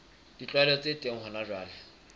ditlwaelo tse teng hona jwale